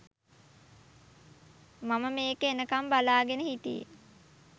මම මේක එනකම් බලාගෙන හිටියේ